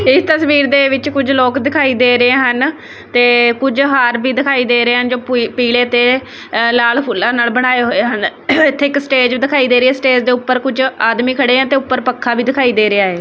ਇਸ ਤਸਵੀਰ ਦੇ ਵਿੱਚ ਕੁਝ ਲੋਕ ਦਿਖਾਈ ਦੇ ਰਹੇ ਹਨ ਤੇ ਕੁਝ ਹਾਰ ਵੀ ਦਿਖਾਈ ਦੇ ਰਹੇ ਹਨ ਜੋ ਪੀਲੇ ਤੇ ਲਾਲ ਫੁੱਲਾਂ ਨਾਲ ਬਣਾਏ ਹੋਏ ਹਨ ਇੱਥੇ ਇੱਕ ਸਟੇਜ ਦਿਖਾਈ ਦੇ ਰਹੀ ਹੈ ਸਟੇਜ ਦੇ ਉੱਪਰ ਕੁਝ ਆਦਮੀ ਖੜੇ ਆ ਤੇ ਉੱਪਰ ਪੱਖਾ ਵੀ ਦਿਖਾਈ ਦੇ ਰਿਹਾ ਐ।